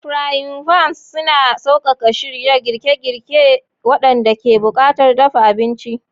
Frying pans yana sauƙaƙa shirya girke-girke waɗanda ke buƙatar dafa abinci.